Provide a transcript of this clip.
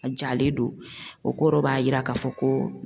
A jalen don o kɔrɔ b'a yira k'a fɔ ko.